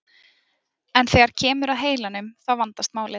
En þegar kemur að heilanum þá vandast málið.